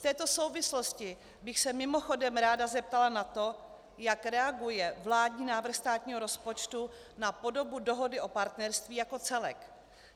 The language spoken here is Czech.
V této souvislosti bych se mimochodem ráda zeptala na to, jak reaguje vládní návrh státního rozpočtu na podobu Dohody o partnerství jako celek.